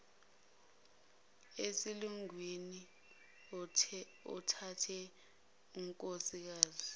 esilungwini othathe unkosikazi